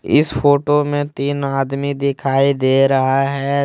इस फोटो में तीन आदमी दिखाई दे रहा है।